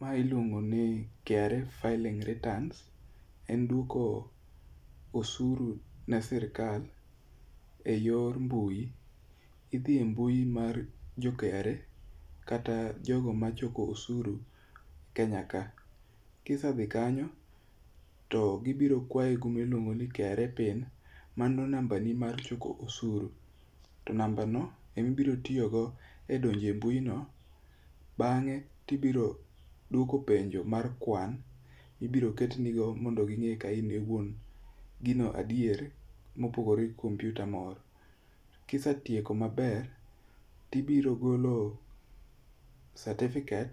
Mae iluongoni KRA filling return. En dwoko osuru ne sirikal ei yor mbui. Idhi i mbui mar jo KRA kata jogo machoko osuru kenyaka. kisedhi kanyo, to gibiro kwayo gilimuongo ni KRA PIN. Mano nambani mar choko osuru. To nambano ema ibiro tiyogo e donjo e mbuino. bang'e, tibiro dwoko penjo mar kwan, ibiro ketnigo mondo ging'e ka in e wuon gino adier, mopogore kuom kompyuta moro. Kisetieko maber, tibiro golo satifiket